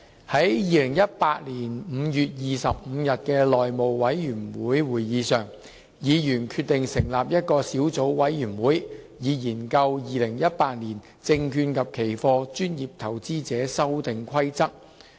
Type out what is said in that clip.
在2018年5月25日的內務委員會會議上，議員決定成立一個小組委員會，以研究《2018年證券及期貨規則》。